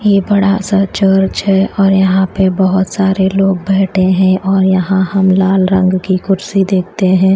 ये बड़ा सा चर्च है और यहां पे बहोत सारे लोग बैठे हैं और यहां हम लाल रंग की कुर्सी देखते हैं।